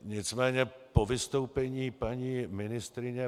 Nicméně po vystoupení paní ministryně